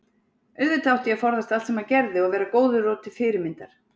auðvitað átti ég að forðast allt sem hann gerði og vera góður og til fyrirmyndar.